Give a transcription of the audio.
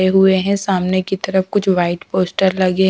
हुए हैं सामने की तरफ कुछ वाइट पोस्टर लगे।